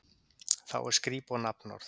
Þá er skrípó nafnorð.